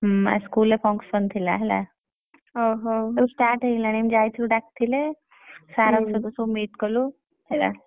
ହୁଁ ଆଜି school ରେ function ଥିଲା ହେଲା ସବୁ start ହେଇଗଲାଣି ଆମେ ଯାଇଥିଲୁ ଡ଼ାକିଥିଲେ sir କଣ ସହିତ ସବୁ meet କଲୁ ହେଲା।